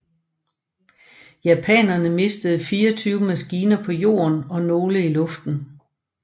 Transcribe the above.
Japanerne mistede 24 maskiner på jorden og nogle i luften